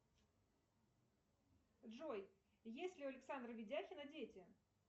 джой есть ли у александра видяхина дети